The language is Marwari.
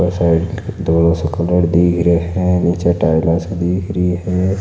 साईड धोलो सो कलर दीख रे है नीचे टाईला सी दीख री है।